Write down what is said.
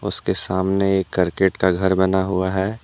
इसके सामने एक करकेट का घर बना हुआ है।